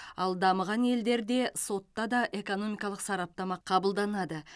ал дамыған елдерде сотта да экономикалық сараптама қабылданады